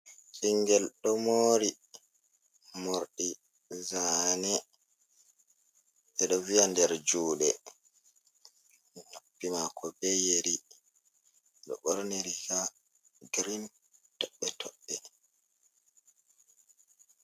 Ɓingel ɗo mori morɗi zane eɗo viya der juɗe, noppi mako be yeri ɗo borni riga girin toɓɓe toɓɓe.